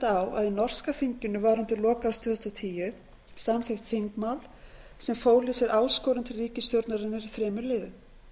að í norska þinginu var undir lok árs tvö þúsund og tíu samþykkt þingmál sem fól í sér áskorun til ríkisstjórnarinnar í þremur liðum